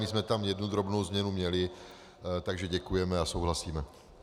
My jsme tam jednu drobnou změnu měli, takže děkujeme a souhlasíme.